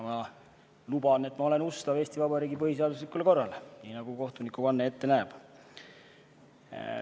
Ma luban, et olen ustav Eesti Vabariigi põhiseaduslikule korrale, nii nagu kohtunikuvanne ette näeb.